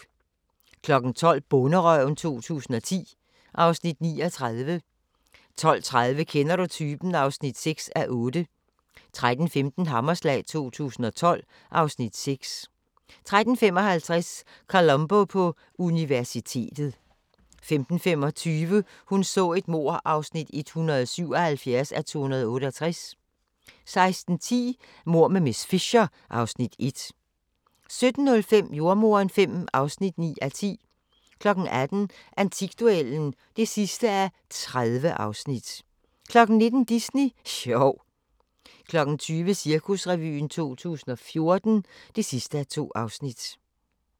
12:00: Bonderøven 2010 (Afs. 39) 12:30: Kender du typen? (6:8) 13:15: Hammerslag 2012 (Afs. 6) 13:55: Columbo på universitetet 15:25: Hun så et mord (177:268) 16:10: Mord med miss Fisher (Afs. 1) 17:05: Jordemoderen V (9:10) 18:00: Antikduellen (30:30) 19:00: Disney sjov 20:00: Cirkusrevyen 2014 (2:2)